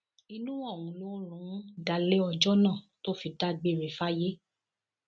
inú ọhún ló rún un dalẹ ọjọ náà tó fi dágbére fáyé